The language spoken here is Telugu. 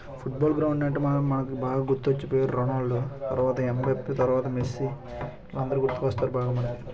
ఫుట్బాల్ గ్రౌండ్ అంటే మనం మనకు బాగా గుర్తొచ్చే పేరు రోనాల్డో తర్వాత ఎంబర్త్ తర్వాత మెస్సి వీళ్ళందరూ గుర్తుకొస్తారు బాగా మనకి.